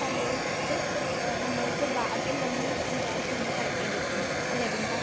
സന്തോഷിച്ച് നമ്മൾക്ക് ഭാഗ്യമെന്ന് വിചാരിച്ച് നമ്മൾ കഴിക്കേണ്ടിയിരിക്കുന്നു. അല്ലെ, വൃന്ദ?